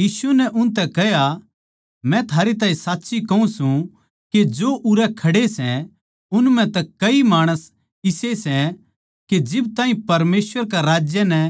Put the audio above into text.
यीशु नै उनतै कह्या मै थारै तै साच्ची कहूँ सूं के जो उरै खड़े सै उन म्ह तै कई इसे माणस सै के जिब ताहीं परमेसवर के राज्य नै